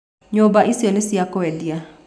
Nyũmba icio nĩ cia kũendia.